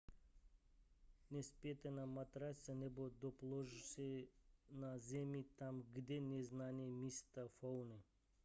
nespěte na matraci nebo podložce na zemi tam kde neznáte místní faunu